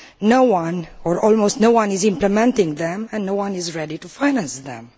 No one or almost no one is implementing them and no one is ready to finance them.